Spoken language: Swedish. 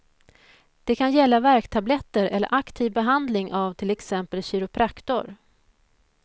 Det kan gälla värktabletter eller aktiv behandling av till exempel kiropraktor.